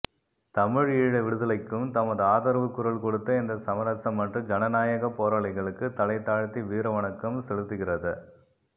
தமிழீழ விடுதலைக்கும் தமது ஆதரவு குரல் கொடுத்த இந்த சமரசமற்ற சனநாயக போராளிகளுக்கு தலைதாழ்த்தி வீரவணக்கம் செலுத்துகிறத